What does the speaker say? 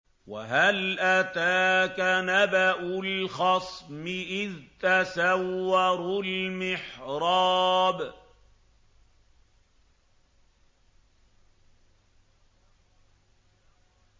۞ وَهَلْ أَتَاكَ نَبَأُ الْخَصْمِ إِذْ تَسَوَّرُوا الْمِحْرَابَ